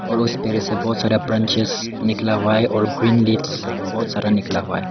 और उस पेड़ से बहोत सारा ब्रांचेस निकला हुआ है और ग्रीन लीव्स बहोत सारा निकला हुआ है।